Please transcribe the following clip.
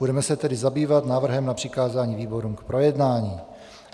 Budeme se tedy zabývat návrhem na přikázání výborům k projednání.